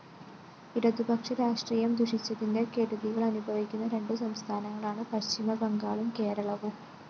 ഇടതുപക്ഷ രാഷ്ട്രീയം ദുഷിച്ചതിന്റെ കെടുതികളനുഭവിക്കുന്ന രണ്ടു സംസ്ഥാനങ്ങളാണ് പശ്ചിമബംഗാളും കേരളവും